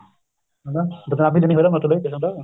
ਹਣਾ ਬਦਨਾਮੀ ਜਿੰਨੀ ਉਹਦਾ ਮਤਲਬ ਹਨਾ